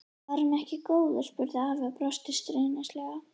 Var hann ekki góður? spurði afi og brosti stríðnislega.